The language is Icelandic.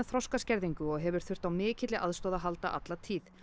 þroskaskerðingu og hefur þurft á mikilli aðstoð að halda alla tíð